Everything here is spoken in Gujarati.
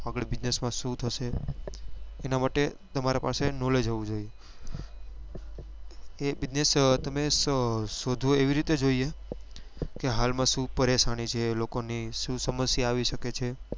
આગળ business માં શું થશે એના માટે તમારા પાસે knowledge હોવું જોઈએ કે business તમે શોધવો એવી રીતે જોઈએ કે હાલ માં શું પરેશાની જોઈએ લોકો ને શું સમસ્યા આવી સકે છે